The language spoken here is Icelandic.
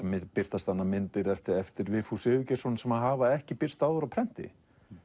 birtast þarna myndir eftir Vigfús Sigurgeirsson sem hafa ekki birst áður á prenti